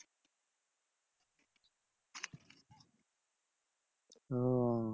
ওহ